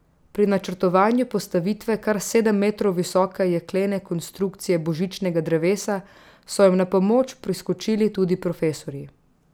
Pri načrtovanju postavitve kar sedem metrov visoke jeklene konstrukcije božičnega drevesa so jim na pomoč priskočili tudi profesorji.